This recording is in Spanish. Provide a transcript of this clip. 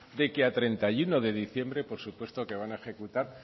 de que a treinta y uno de diciembre por supuesto que van a ejecutar